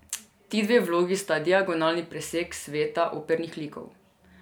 Ti dve vlogi sta diagonalni presek sveta opernih likov.